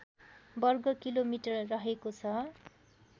वर्ग किलोमिटर रहेको छ